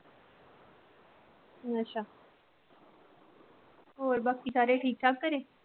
ਅੱਛਾ ਹੋਰ ਬਾਕੀ ਸਾਰੇ ਠੀਕ ਠਾਕ ਘਰੇ?